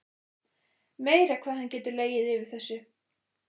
Meira hvað hann getur legið yfir þessu.